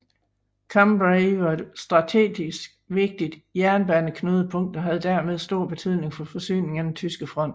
Cambrai var et strategisk vigtigt jernbaneknudepunkt og havde dermed stor betydning for forsyningen af den tyske front